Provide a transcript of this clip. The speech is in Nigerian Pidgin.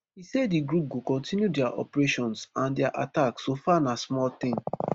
e say di group go continue dia operations and dia attacks so far na small thing